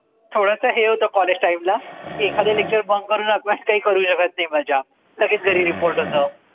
थोडस हे होत Collegetime ला एखाद lecturebunk करून आपण काही करू शकत नाही मजा लगेच घरी report होत